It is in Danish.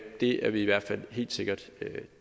det er vi i hvert fald helt sikkert